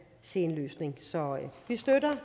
se en løsning så vi støtter